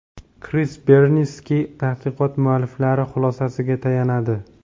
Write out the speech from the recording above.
Kris Berniske tadqiqot mualliflari xulosasiga tayanadi.